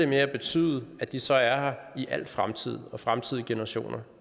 med at betyde at de så er her i al fremtid og også fremtidige generationer